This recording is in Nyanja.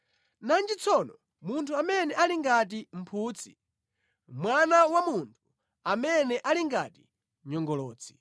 nanji tsono munthu amene ali ngati mphutsi, mwana wa munthu amene ali ngati nyongolotsi!”